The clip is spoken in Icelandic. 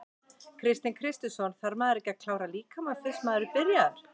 Kristinn Kristinsson: Þarf maður ekki að klára líkamann fyrst að maður er byrjaður?